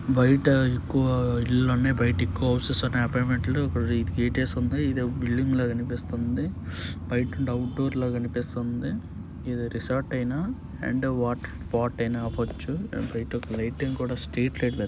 బయట ఎక్కువ ఇల్లులు ఉన్నాయి. బయట ఎక్కువ హౌసెస్ ఉన్నాయి. అపార్ట్మెంట్ లు. ఇక్కడ గేటు వేసుంది. ఇదో బిల్డింగ్ లాగా అనిపిస్తుంది బయట నుండి అవుట్ డోర్ లా అనిపిస్తుంది ఇది రిసార్ట్ అయినా అండ్ వాటర్ స్పాట్ అయినా అవచ్చు. బయట ఒక లైటింగ్ కూడా స్ట్రీట్ లైట్ వెల్--